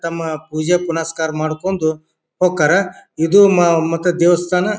ತಮ್ಮ ಪೂಜೆ ಪುನಸ್ಕಾರ ಮಾಡಕೊಂದು ಹೂಕರ್. ಇದು ಮ ಮತ್ತ ದೇವಸ್ಥಾನ--